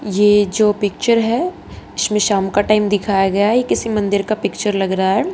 ये जो पिक्चर है इसमें शाम का टाइम दिखाया गया है ये किसी मंदिर का पिक्चर लग रहा है।